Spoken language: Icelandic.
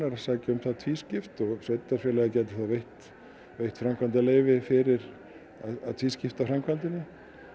að sækja um það tvískipt og sveitarfélagið gæti þá veitt veitt framkvæmdaleyfi fyrir að tvískipta framkvæmdinni